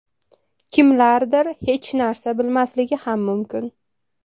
Kimlardir hech narsa bilmasligi ham mumkin.